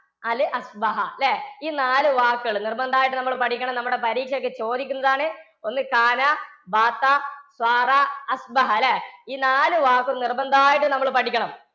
നാല് ല്ലേ? ഈ നാല് വാക്കുകള് നിര്‍ബന്ധായിട്ടും നമ്മളു പഠിക്കണം. നമ്മടെ പരീക്ഷക്ക്‌ ചോദിക്കുന്നതാണ്. ഒന്ന് ല്ലേ? ഈ നാല് വാക്കും നിര്‍ബന്ധായിട്ടും നമ്മള് പഠിക്കണം.